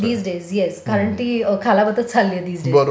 These days yes कारण ती खालावतच चालली आहे दीज डेज.